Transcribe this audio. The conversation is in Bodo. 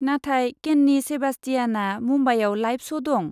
नाथाय केन्नि सेबास्टियाना मुम्बाइआव लाइभ श' दं।